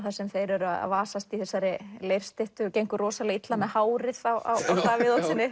þar sem þeir eru að vasast í þessari leirstyttu og gengur rosalega illa með hárið á Davíð Oddssyni